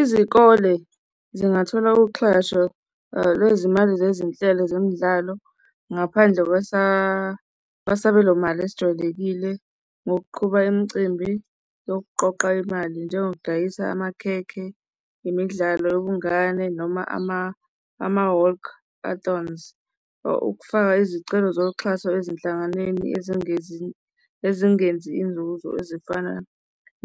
Izikole zingathola uxhaso lwezimali zezinhlelo zemidlalo ngaphandle kwesabelomali esijwayelekile ngokuqhuba imicimbi yokuqoqa imali, njengokudayisa amakhekhe imidlalo yobungane noma ama-walkathons okufaka izicelo zoxhaso ezinhlanganweni ezingenzi, ezingenzi inzuzo ezifana